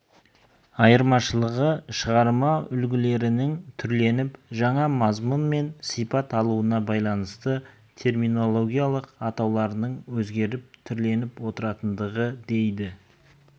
айырмашылығы шығарма үлгілерінің түрленіп жаңа мазмұн мен сыйпат алуына байланысты терминологиялық атауларының өзгеріп түрленіп отыратындығы дейді